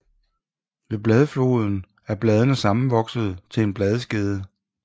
Ved bladfoden er bladene sammenvoksede til en bladskede